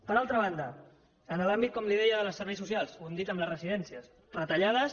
per altra banda en l’àmbit com li deia dels serveis socials ho hem dit en les residències retallades